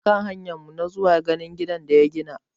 Mun hanya zuwa ganin gidan da ya gina.